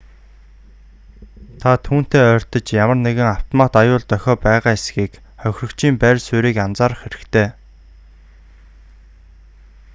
та түүнтэй ойртож ямар нэгэн автомат аюул дохио байгаа эсэхийг хохирогчийн байр суурийг анзаарах хэрэгтэй